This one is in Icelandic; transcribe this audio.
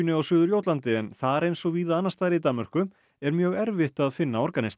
á Suður Jótlandi en þar eins og víða annars staðar í Danmörku er mjög erfitt að finna organista